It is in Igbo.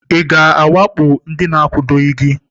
Ị ga-awakpo ndị na-akwadoghị gị?